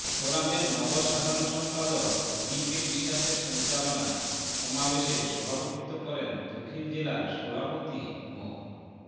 ফোরামের নগর সাধারণ সম্পাদক বি কে বিশ্বাসের সঞ্চালনায় সমাবেশে সভাপতিত্ব করেন দক্ষিণ জেলার সভাপতি মো